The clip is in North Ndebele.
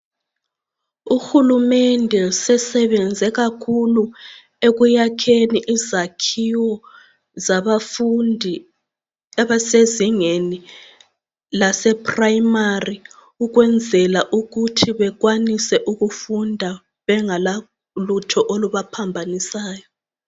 Uhulumende sesebenze kakhulu ekuyakheni izakhiwo zabafundi abasezingeni lase primary ukwenzela ukuthi bakwanise ukufunda bengela lutho oluba phambanisayo.